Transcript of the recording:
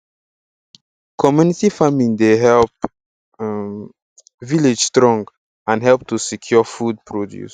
community farming dey help um village strong and help to secure food produce